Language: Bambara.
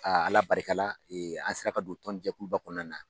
Ala barika la an sera ka don tɔnjɛkuluba kɔnɔna na.